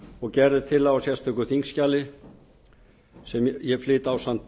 og gerð er tillaga um í sérstöku þingskjali sem ég flyt ásamt